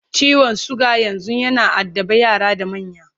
ciwon suga yanzun yana addaban yara da manya